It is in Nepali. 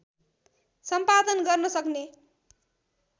सम्पादन गर्न सक्ने